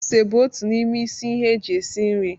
Ose bụ otu n'ime isi ihe eji esi nri.